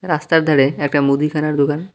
রাস্তার ধারে একটা মুদিখানার দোকান।